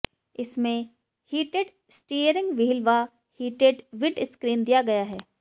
इसमें heated steering wheel व heated windscreen दिया गया है